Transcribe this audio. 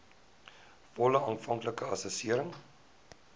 volle aanvanklike assessering